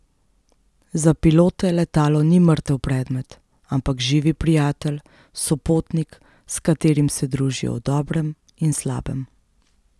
Za pilote letalo ni mrtev predmet, ampak živi prijatelj, sopotnik, s katerim se družijo v dobrem in slabem.